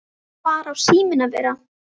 Hvar á síminn að vera?